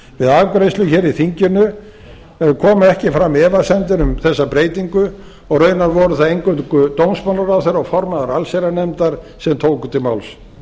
við afgreiðslu hér í þinginu komu ekki fram efasemdir um þessa breytingu og raunar voru það eingöngu dómsmálaráðherra og formaður allsherjarnefndar sem tóku til máls